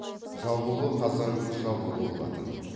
жабулы қазан жабулы болатын